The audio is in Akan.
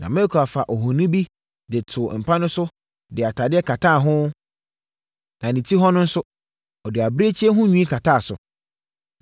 Na Mikal faa ohoni bi de no too mpa so de atadeɛ kataa ho, na ne ti hɔ no nso, ɔde abirekyie ho nwi kataa so.